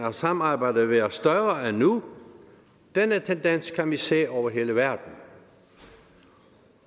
af samarbejde været større end nu denne tendens kan vi se over hele verden